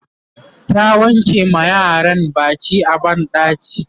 ta wanke ma yaran Baki a banɗaki